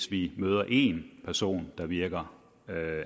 vi møder én person der virker